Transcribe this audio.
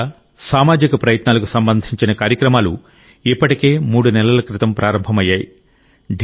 వ్యక్తిగత సామాజిక ప్రయత్నాలకు సంబంధించిన కార్యక్రమాలు ఇప్పటికే మూడు నెలల క్రితం ప్రారంభమయ్యాయి